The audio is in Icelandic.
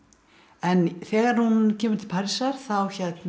en þegar hún kemur til Parísar þá